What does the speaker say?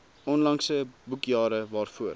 onlangse boekjare waarvoor